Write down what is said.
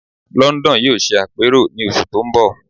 London yóò ṣe àpérò ní oṣù tó ń bọ̀